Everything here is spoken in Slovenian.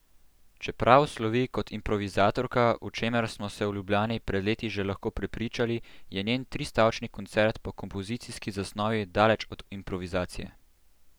Čeprav slovi kot improvizatorka, o čemer smo se v Ljubljani pred leti že lahko prepričali, je njen tristavčni koncert po kompozicijski zasnovi daleč od improvizacije.